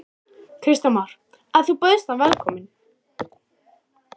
Kristján Már: En þú bauðst hann velkomin?